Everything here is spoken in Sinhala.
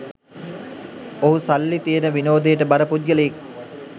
ඔහු සල්ලි තියෙන විනෝදයට බර පුද්ගලයෙක්